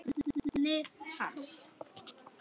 nafni hans.